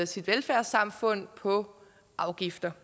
sit velfærdssamfund på afgifter